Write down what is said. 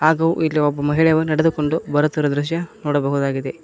ಹಾಗು ಇಲ್ಲಿ ಒಬ್ಬ ಮಹಿಳೆವು ನಡೆದುಕೊಂಡು ಬರುತ್ತಿರುವ ದೃಶ್ಯ ನೋಡಬಹುದಾಗಿದೆ.